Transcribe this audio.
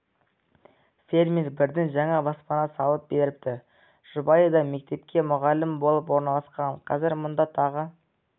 фермер бірден жаңа баспана салып беріпті жұбайы да мектепке мұғалім болып орналасқан қазір мұнда тағы